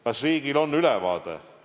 Kas riigil on ülevaade?